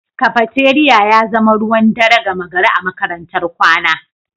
Cafeteria ya zama ruwan dare gama gari a makarantar kwana